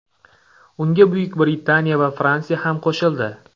Unga Buyuk Britaniya va Fransiya ham qo‘shildi.